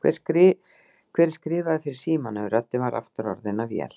Hver er skrifaður fyrir símanum? röddin var aftur orðin að vél.